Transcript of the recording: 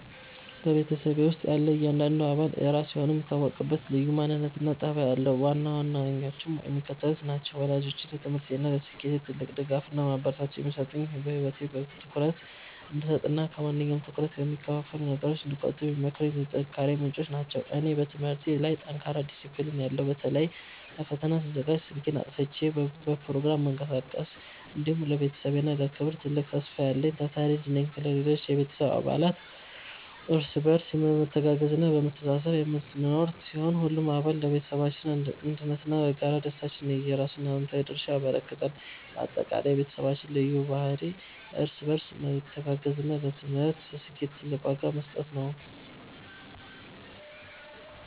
በቤተሰቤ ውስጥ ያለ እያንዳንዱ አባል የራሱ የሆነ የሚታወቅበት ልዩ ማንነትና ጠባይ አለው፤ ዋና ዋናዎቹም የሚከተሉት ናቸው፦ ወላጆቼ፦ ለትምህርቴና ለስኬቴ ትልቅ ድጋፍና ማበረታቻ የሚሰጡኝ፣ በህይወቴ ትኩረት እንድሰጥና ከማንኛውም ትኩረት ከሚከፋፍሉ ነገሮች እንድቆጠብ የሚመክሩኝ የጥንካሬዬ ምንጮች ናቸው። እኔ፦ በትምህርቴ ላይ ጠንካራና ዲሲፕሊን ያለው (በተለይ ለፈተና ስዘጋጅ ስልኬን አጥፍቼ በፕሮግራም የምቀሳቀስ)፣ እንዲሁም ለቤተሰቤ ክብርና ትልቅ ተስፋ ያለኝ ታታሪ ልጅ ነኝ። ሌሎች የቤተሰብ አባላት፦ እርስ በርስ በመተጋገዝና በመተሳሰብ የምንኖር ሲሆን፣ ሁሉም አባል ለቤተሰባችን አንድነትና ለጋራ ደስታችን የየራሱን አዎንታዊ ድርሻ ያበረክታል። ባጠቃላይ፣ የቤተሰባችን ልዩ ባህሪ እርስ በርስ መተጋገዝና ለትምህርት ስኬት ትልቅ ዋጋ መስጠት ነው።